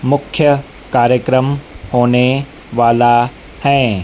मुख्य कार्यक्रम होने वाला हैं।